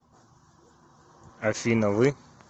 афина вы